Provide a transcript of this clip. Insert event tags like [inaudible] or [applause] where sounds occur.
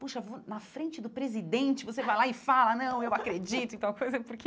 Poxa, [unintelligible] na frente do presidente, você vai lá e fala, não, eu acredito em tal coisa, [laughs] porque...